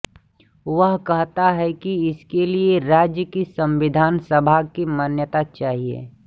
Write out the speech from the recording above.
वह कहता है कि इसके लिये राज्य की संविधान सभा की मान्यता चाहिये